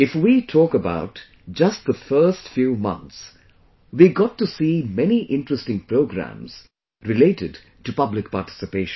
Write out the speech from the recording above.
If we talk about just the first few months, we got to see many interesting programs related to public participation